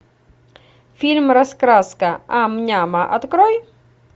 фильм раскраска ам няма открой